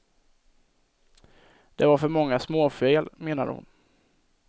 Det var för många småfel menade hon.